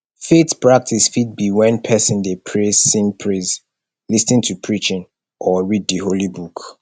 faith practice fit be when persin de pray sing praise lis ten to preaching or read di holy book